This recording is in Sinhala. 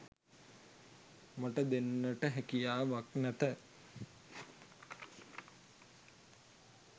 මට දෙන්නට හැකියාවක් නැත